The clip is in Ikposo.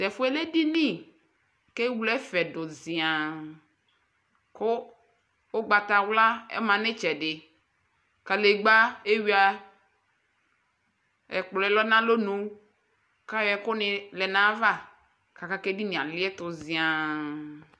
T'ɛfuɛ lɛ edini k'ewle ɛfɛ du ziaa, ku ugbata wla ɔma n'itsɛ di, kalegba eyua, ɛkplɔɛ lɛ n'alonu k'ayɔ ɛku ni lɛ n'ay'ava, k'aka k'edini ali ɛtu ziaa